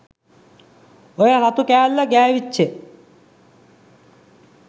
ඔය රතු කෑල්ල ගෑවිච්ච